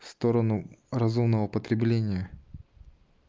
в сторону разумного потребления